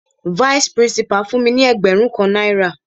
Vice principal fún mi ní ẹgbẹrun kan náírà.